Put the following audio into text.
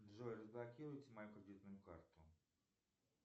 джой разблокируйте мою кредитную карту